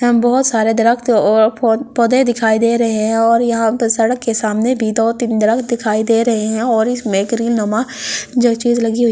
हम बहुत सारे दरख्त और पौधे दिखाई दे रहे हैं और यहाँ पर सड़क के सामने भी दो-तीन दरख्त दिखाई दे रहे हैं और इसमें करील नमा जो चीज लगी हुई।